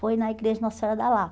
Foi na igreja Nossa Senhora da Lá.